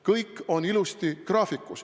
Kõik on ilusasti graafikus.